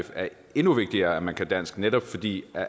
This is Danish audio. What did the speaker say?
er endnu vigtigere at man kan dansk netop fordi